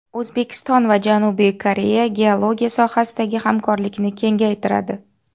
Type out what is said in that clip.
O‘zbekiston va Janubiy Koreya geologiya sohasidagi hamkorlikni kengaytiradi.